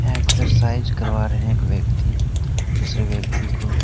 Exercise करवा रहे एक व्यक्ति दूसरे व्यक्ति को।